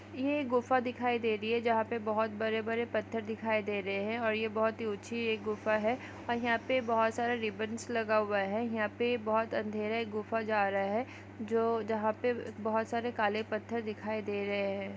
यह गुफा दिखाई दे रहे है जहां पर बहुत बड़े-बड़े पत्थर दिखाई दे रहे है और यह बहुत ही ऊंची यह गुफा है और यहां पर बहुत सारे रिबिन्स लगा हुआ है यहां पर बहुत अंधेरा यह गुफा जा रहा है जो जहां पर बहुत सारे काले पत्थर दिखाई दे रहे है।